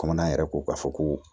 Kɔmɔ yɛrɛ ko k'a fɔ ko